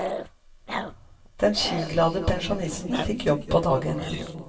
Den skiglade pensjonisten fikk jobb på dagen.